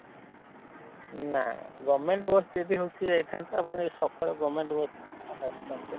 ନାଁ govement bus ଯଦି ହଉଛି ଯାଇଥାନ୍ତା ଆପଣ ଯଦି ସକାଳ govement ବସ ଆସି ଥାନ୍ତେ?